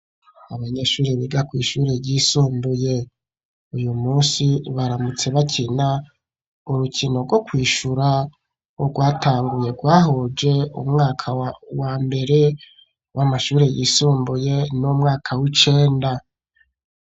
Abanyeshuri biga kw' ishuri y'isumbuye uyu munsi baramutse bakina urukino rwo kwishura wo rwatanguye rwahuje umwaka wa mbere w'amashuri y'isumbuye n'umwaka w'icenda.